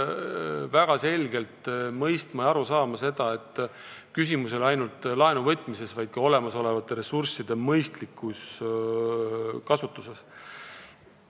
Väga selgelt peaks mõistma ja aru saama sellest, et küsimus ei ole ainult laenu võtmises, vaid ka olemasolevate ressursside mõistlikus kasutuses.